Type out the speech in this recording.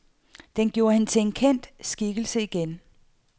Den gjorde hende til en kendt skikkelse igen.